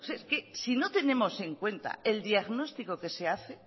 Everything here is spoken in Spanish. es que si no tenemos en cuenta el diagnóstico que se hace